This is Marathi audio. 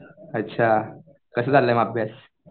अच्छा कसा चाललाय मग अभ्यास?